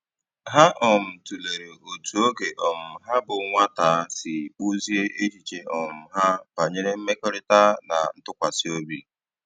Ha um tụ̀lèrè otú ógè um ha bụ́ nwátà sì kpụ́ziè èchìchè um ha bànyèrè mmèkọ̀rị̀ta na ntụ́kwàsị́ òbì.